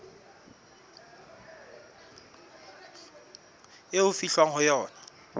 eo ho fihlwang ho yona